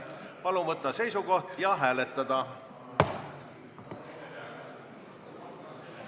Palun võtta seisukoht ja hääletada!